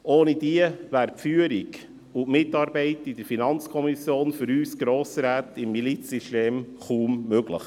Ohne diese wäre die Führung und Mitarbeit in der FiKo für uns Grossräte im Milizsystem kaum möglich.